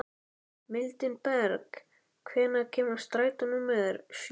Mildinberg, hvenær kemur strætó númer sjö?